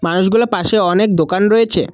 মাছগুলার পাশে অনেক দোকান রয়েছে।